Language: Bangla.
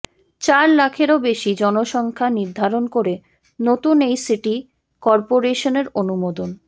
চার লাখেরও বেশী জনসংখ্যা নির্ধারন করে নতুন এই সিটি করপোরেশনের অনুমোদন